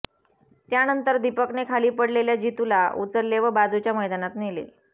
त्यानंतर दीपकने खाली पडलेल्या जीतूला उचलले व बाजूच्या मैदानात नेले